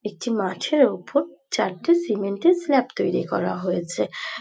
একটি মাঠের ওপর চারটে সিমেন্টের স্ল্যাব তৈরী করা হয়েছে।